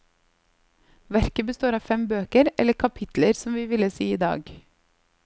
Verket består av fem bøker, eller kapitler som vi ville si i dag.